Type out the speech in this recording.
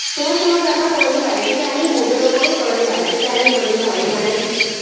সময় সময়ের ব্যাপার কোনদিন বাইরে থেকে আনি mood এর ওপরে কোনদিন বাইরে থেকে আনি কোনদিন ঘরেই বানাই